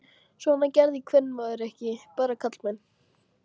Svona gerði kvenmaður ekki, bara karlmenn.